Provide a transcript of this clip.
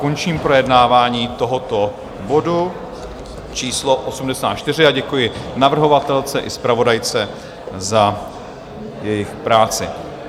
Končím projednávání tohoto bodu číslo 84 a děkuji navrhovatelce i zpravodajce za jejich práci.